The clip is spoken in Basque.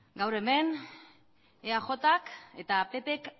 gaur hemen eajk eta ppk